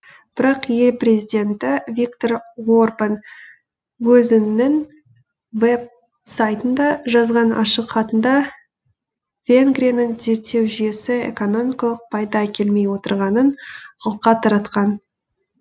бірақ ел президенті виктор орбан өзінің веб сайтында жазған ашық хатында венгрияның зерттеу жүйесі экономикалық пайда әкелмей отырғанын алға таратқан